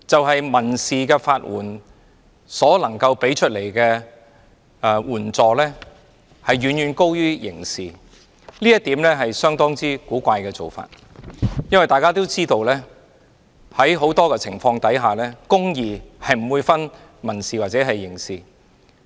他說民事法援提供的援助遠高於刑事法援，這是相當古怪的做法，因為在很多情況下，公義是不會分民事或刑事的。